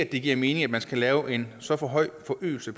det giver mening at man skal lave en så høj forøgelse